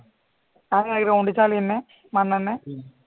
ആ ground ൽ തന്നെ മണ്ണ് തന്നെ